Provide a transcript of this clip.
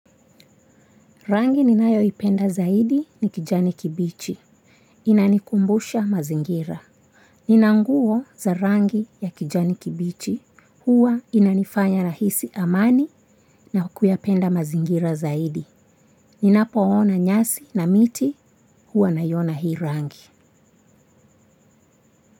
Rangi ninayoipenda zaidi ni kijani kibichi. Inanikumbusha mazingira. Nina nguo za rangi ya kijani kibichi, huwa inanifanya nahisi amani na kuyapenda mazingira zaidi. Ninapoona nyasi na miti, huwa naiona hii rangi.